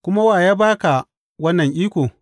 Kuma wa ya ba ka wannan iko?